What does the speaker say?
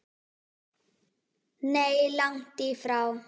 Nei, langt í frá.